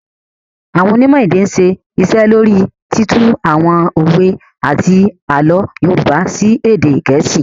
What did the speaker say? Àwọn Onímò èdè ń ṣe iṣẹ́ lóríi títú àwọn òwe àti àlọ́ Yorùbá sí èdè Geesi